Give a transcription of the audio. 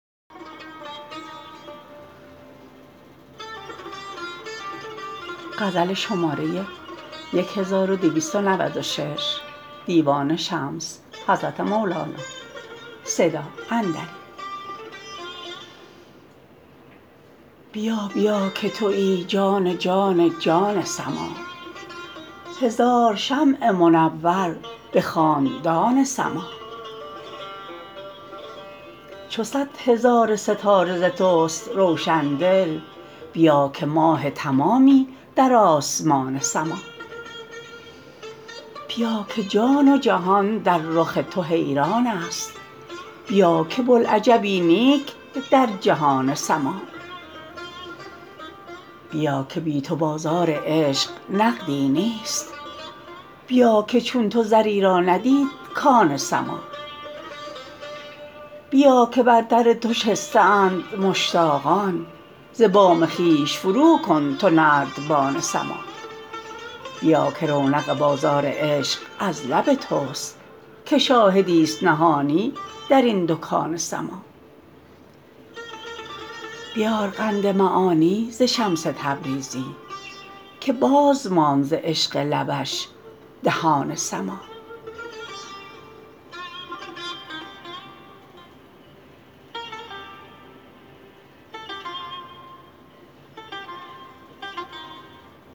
بیا بیا که توی جان جان جان سماع هزار شمع منور به خاندان سماع چو صد هزار ستاره ز تست روشن دل بیا که ماه تمامی در آسمان سماع بیا که جان و جهان در رخ تو حیرانست بیا که بوالعجبی نیک در جهان سماع بیا که بی تو به بازار عشق نقدی نیست بیا که چون تو زری را ندید کان سماع بیا که بر در تو شسته اند مشتاقان ز بام خویش فروکن تو نردبان سماع بیا که رونق بازار عشق از لب تست که شاهدیست نهانی در این دکان سماع بیار قند معانی ز شمس تبریزی که باز ماند ز عشق لبش دهان سماع